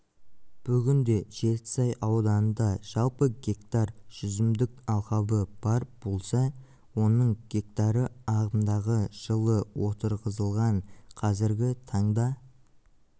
бүгінде жетісай ауданында жалпы гектар жүзімдік алқабы бар болса оның гектары ағымдағы жылы отырғызылған қазіргі таңда